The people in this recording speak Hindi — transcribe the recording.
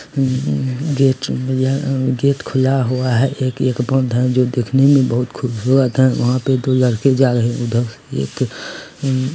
एक भैया गेट खुला हुआ है एक जो दिखने में बहुत खूबसूरत है वहां पे दो लड़के जा रहे है उधर एक--